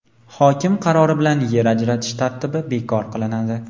Hokim qarori bilan yer ajratish tartibi bekor qilinadi.